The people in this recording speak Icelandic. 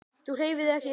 Þú hreyfir þig ekki.